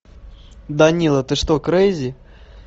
данила ты что крейзи